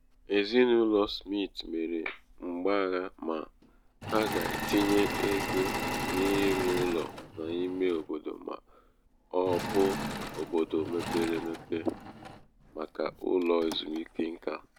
ezinaụlọ smit mere mgbagha ma ha ga-etinye ego n'ịrụ ụlọ n'ime obodo ma ọ bụ n'obodo mepere mepere emepe màkà ụlọ ezumike nka ha.